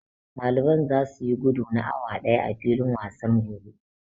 Ɗaliban zasu yi gudu na awa ɗaya a filin wasan gobe.